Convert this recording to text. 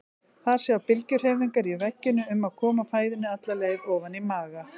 Þar sjá bylgjuhreyfingar í veggjunum um að koma fæðunni alla leið ofan í maga.